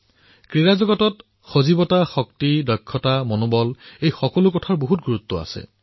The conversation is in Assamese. খেল জগতৰ স্পিৰিট ষ্ট্ৰেংথ স্কিল ষ্টামিনা এই সকলো কথা অতি গুৰুত্বপূৰ্ণ